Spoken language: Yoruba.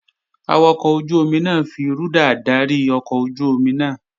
Awakọ̀ ojú-omi náà fi rúdà dárí ọkọ̀ ojú-omi náà